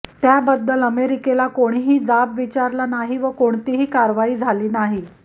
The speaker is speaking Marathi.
त्याबद्दल अमेरिकेला कोणीही जाब विचारला नाही व कोणतीही कारवाई झाली नाही